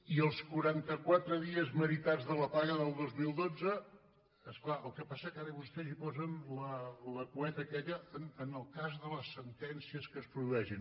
i els quaranta quatre dies meritats de la paga del dos mil dotze és clar el que passa és que vostès ara hi posen la cueta aquella en el cas de les sentències que es produeixin